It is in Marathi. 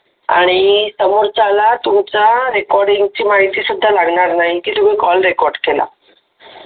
आणि समोरच्याला तुमचा रेकॉर्डिंग ची माहिती सुद्धा लागणार नाही की तुम्ही कॉल रेकॉर्ड केला